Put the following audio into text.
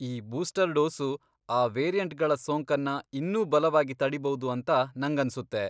ಈ booster dose ಆ ವೇರಿಯಂಟ್ಗಳ ಸೋಂಕನ್ನ ಇನ್ನೂ ಬಲವಾಗಿ ತಡೀಬೌದು ಅಂತ ನಂಗನ್ಸುತ್ತೆ.